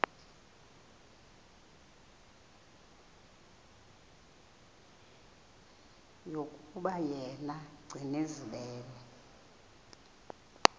yokuba yena gcinizibele